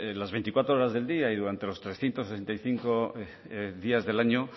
las veinticuatro horas del día y durante los trescientos sesenta y cinco días del año